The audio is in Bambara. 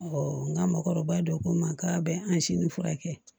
n ka mɔgɔkɔrɔba dɔ ko n ma k'a bɛ an si ni furakɛ